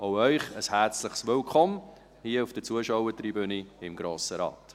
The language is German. Auch Ihnen ein herzliches Willkommen hier auf der Zuschauertribüne im Grossen Rat.